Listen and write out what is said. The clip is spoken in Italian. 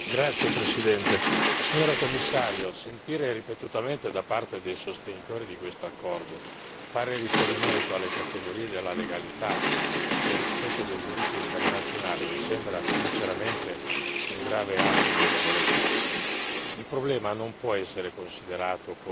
Signor Presidente, onorevoli colleghi, signora Commissario, sentire ripetutamente da parte dei sostenitori di quest'accordo fare riferimento alle categorie della legalità e del rispetto del diritto internazionale mi sembra sinceramente un grave atto di debolezza. Il problema non può essere considerato